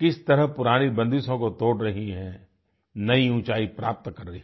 किस तरह पुरानी बंदिशों को तोड़ रही हैं नई ऊँचाई प्राप्त कर रही हैं